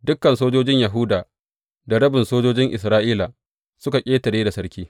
Dukan sojojin Yahuda da rabin sojojin Isra’ila suka ƙetare da sarki.